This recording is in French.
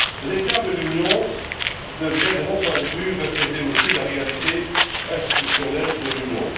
L'état de l'Union devrait, de mon point de vue, refléter aussi la réalité institutionnelle de l'Union.